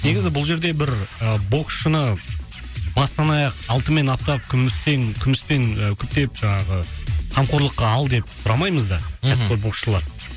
негізі бұл жерде бір боксшыны бастан аяқ алтынмен аптап күмістен күміспен күптеп жаңағы қамқорлыққа ал деп сұрамаймыз да мхм кәсіпқой боксшыларды